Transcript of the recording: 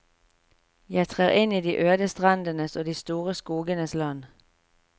Jeg trer inn i de øde strendenes og de store skogenes land.